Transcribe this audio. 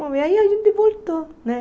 Bom, e aí a gente voltou, né?